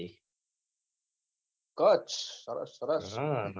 કચ્છ સરસ સરસ